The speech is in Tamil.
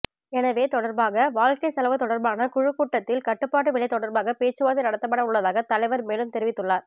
எனவெ தொடர்பாக வாழ்க்கை செலவு தொடர்பான குழுக்கூட்டத்தில் கட்டுபாட்டு விலை தொடர்பாக பேச்சுவார்த்தை நடத்தப்படவுள்ளதாக தலைவர் மேலும் தெரிவித்தள்ளார்